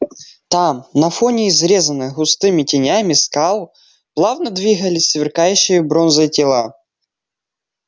там на фоне изрезанных густыми тенями скал плавно двигались сверкающие бронзой тела